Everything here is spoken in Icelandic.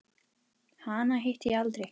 Hana hitti ég aldrei.